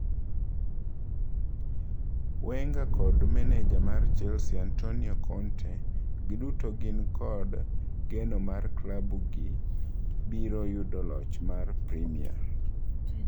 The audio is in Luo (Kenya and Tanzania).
Wenger kod maneja mar Chelsea Antonio Conte, giduto gin kod geno mar klabu gi biro yudo loch mar primia.